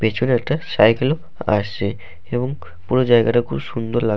পিছনে একটা সাইকেল আসছে এবং পুরো জায়গাটা খুব সুন্দর লাগ--